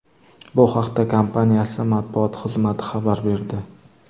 Bu haqda kompaniyasi matbuot xizmati xabar berdi .